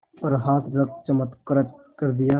पर हाथ रख चमत्कृत कर दिया